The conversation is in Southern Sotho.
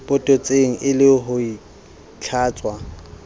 potetseng e le ho itlhatswa